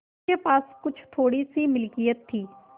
उसके पास कुछ थोड़ीसी मिलकियत थी